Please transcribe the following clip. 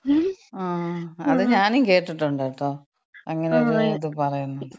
ങ്ങാ. അത് ഞാനും കേട്ടിട്ടുണ്ട് കേട്ടോ. അങ്ങനെ ഒര് ഇത് പറയുന്നത്.